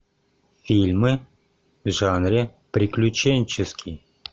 фильмы в жанре приключенческий